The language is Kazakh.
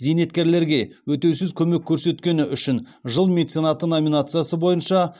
зейнеткерлерге өтеусіз көмек көрсеткені үшін жыл меценаты номинациясы бойынша